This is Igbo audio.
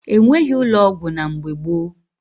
E nweghi ụlọ ọgwụ na mgbe gboo